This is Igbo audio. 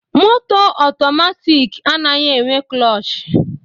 Moto atomatik anaghị enwe klush